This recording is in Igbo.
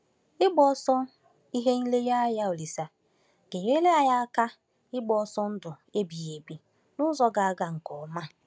Ịgbaso ihe nlereanya Olise ga-enyere anyị aka ịgba ọsọ ndụ ebighị ebi n’ụzọ ga-aga nke ọma.